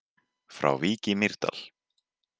Frá Vík í Mýrdal